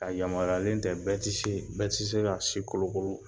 A yamariyalen tɛ bɛɛ tise ,bɛɛ ti se ka si kolokolo.